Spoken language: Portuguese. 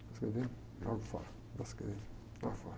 Escrever, jogo fora, começo a escrever, jogo fora.